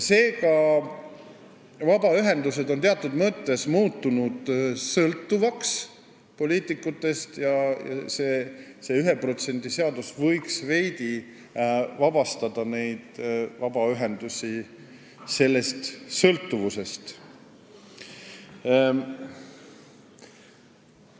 Seega on vabaühendused muutunud teatud mõttes sõltuvaks poliitikutest ja see 1% seadus võiks neid sellest sõltuvusest veidi vabastada.